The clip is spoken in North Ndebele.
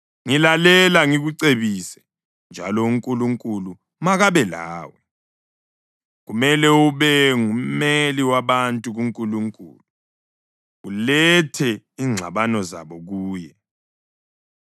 Ngilalela ngikucebise, njalo uNkulunkulu makabe lawe. Kumele ube ngummeli wabantu kuNkulunkulu, ulethe ingxabano zabo kuye.